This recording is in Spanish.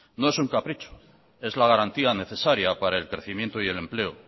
no es un capricho es la garantía necesaria para el crecimiento y el empleo